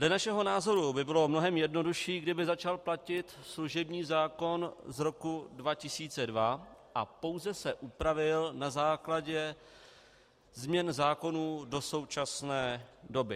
Dle našeho názoru by bylo mnohem jednodušší, kdyby začal platit služební zákon z roku 2002 a pouze se upravil na základě změn zákonů do současné doby.